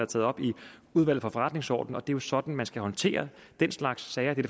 taget op i udvalget for forretningsordenen og det jo sådan man skal håndtere den slags sager det